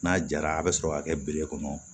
N'a jara a bɛ sɔrɔ ka kɛ bere kɔnɔ